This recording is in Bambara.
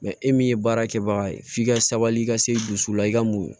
e min ye baara kɛbaga ye f'i ka sabali i ka se dusu la i ka muɲu